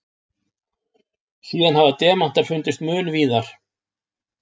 Síðan hafa demantar fundist mun víðar.